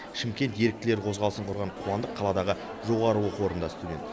шымкент еріктілері қозғалысын құрған қуандық қаладағы жоғары оқу орнында студент